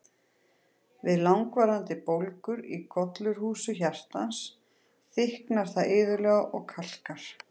Við langvarandi bólgur í gollurhúsi hjartans, þykknar það iðulega og kalkar.